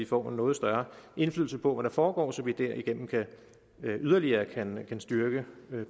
får en noget større indflydelse på hvad der foregår så vi derigennem yderligere kan kan styrke